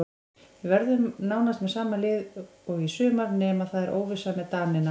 Við verðum með nánast sama lið og í sumar nema það er óvissa með Danina.